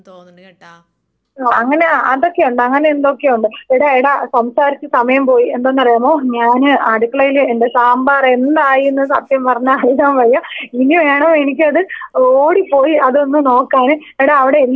ആ അങ്ങനെ അതൊക്കെയുണ്ട് അങ്ങനെ എന്തൊക്കെയോ ഉണ്ട് എടാ എടാ സംസാരിച്ച് സമയം പോയി എന്തെന്നറിയാമോ ഞാന് അടുക്കളേല് എന്റെ സാമ്പാറെന്തായീന്ന് സത്യം പറഞ്ഞാൽ അറിയാൻ വയ്യ ഇനി വേണോ എനിക്കത് ഓടിപ്പോയി അതൊന്ന് നോക്കാന് എടാ അവിടെ എല്ലാരും സുഖമായിട്ടിരിക്ക്ണില്ലേ.